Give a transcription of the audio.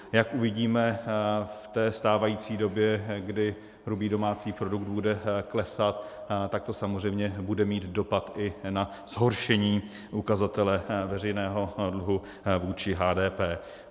Jak uvidíme v té stávající době, kdy hrubý domácí produkt bude klesat, tak to samozřejmě bude mít dopad i na zhoršení ukazatele veřejného dluhu vůči HDP.